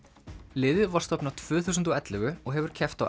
liðið var stofnað tvö þúsund og ellefu og hefur keppt á